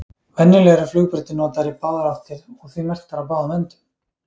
venjulega eru flugbrautir notaðar í báðar áttir og því merktar á báðum endum